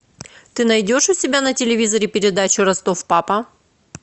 ты найдешь у себя на телевизоре передачу ростов папа